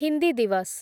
Hindi Diwas